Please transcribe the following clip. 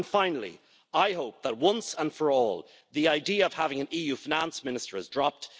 Finally, I hope that once and for all, the idea of having an EU finance minister is dropped.